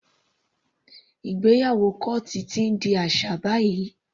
Ìgbéyàwó kọ́ọ́tù ti ń di aṣà báyìí.